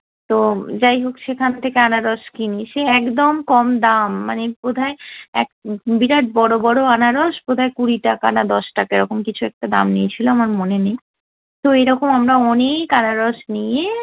তো যাই হোক সেখান থেকে আনারস কিনি, সে একদম কম দাম মানে বোধহয় এক বিরাট বড় বড় আনারস বোধহয় কুড়ি টাকা না দশ টাকা এরকম কিছু একটা দাম নিয়েছিলো আমার মনে নেই। তো এইরকম আমরা অনেক আনারস নিয়ে